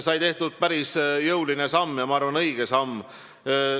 Sai tehtud päris jõuline samm ja ma arvan, õige samm.